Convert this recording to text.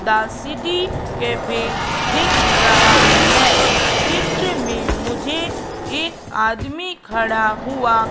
the city cafe दिख रहा है चित्र में मुझे एक आदमी खड़ा हुआ--